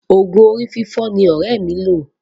Òògùn orí fífọ́ ni ọ̀rẹ́ mi lo.